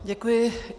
Děkuji.